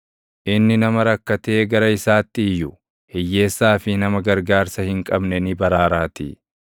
Inni nama rakkatee gara isaatti iyyu, hiyyeessaa fi nama gargaarsa hin qabne ni baraaraatii.